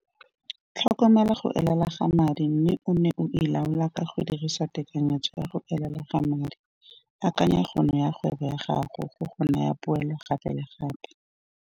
Tlhokomela go elela ga madi mme o nne o e laola ka go dirisa tekanyetso ya go elela ga madi. Akanya kgono ya kgwebo ya gago go go naya poelo gape le gape.